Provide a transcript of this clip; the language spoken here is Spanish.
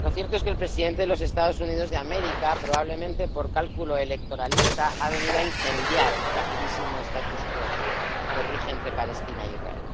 lo cierto es que el presidente de los Estados Unidos de América, probablemente por cálculo electoralista, ha venido a incendiar el fragilísimo que rige entre Palestina e Israel.